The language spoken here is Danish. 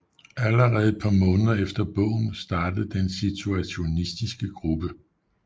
Allerede et par måneder efter bogen startede den Situationistiske gruppe